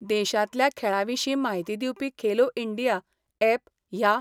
देशांतल्या खेळा विशीं माहिती दिवपी खेलो इंडिया एप ह्या